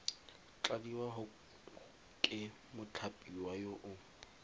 tladiwa ke mothapiwa yo o